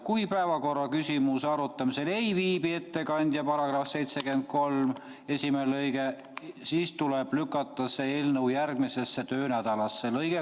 Kui päevakorra küsimuse arutamisel ei viibi ettekandjat , siis tuleb lükata see eelnõu järgmisesse töönädalasse .